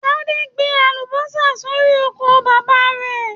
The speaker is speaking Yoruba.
Tade gbìn àlùbọ́sà sórí oko bàbá rẹ.